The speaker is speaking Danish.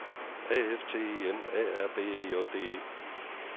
A F T E N A R B E J D E